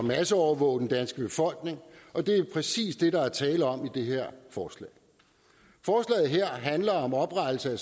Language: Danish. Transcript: masseovervåge den danske befolkning og det er præcis det der er tale om i det her forslag forslaget her handler om oprettelse af